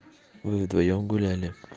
вы вдвоём гуляли